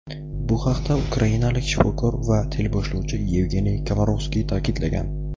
Bu haqda ukrainalik shifokor va teleboshlovchi Yevgeniy Komarovskiy ta’kidlagan.